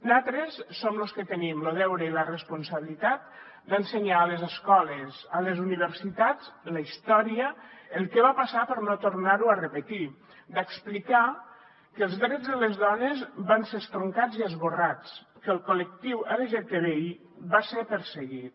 nosaltres som los que tenim lo deure i la responsabilitat d’ensenyar a les escoles a les universitats la història el que va passar per no tornar ho a repetir d’explicar que els drets de les dones van ser estroncats i esborrats que el col·lectiu lgtbi va ser perseguit